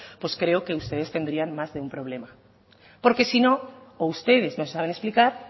pues creo que ustedes tendrían más de un problema porque si no o ustedes no saben explicar